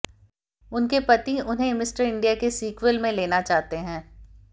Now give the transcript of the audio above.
उनके पति उन्हें मिस्टर इंडिया के सीक्वेल में लेना चाहते हैं